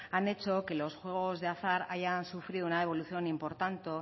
han hecho que los juegos de azar hayan sufrido una evolución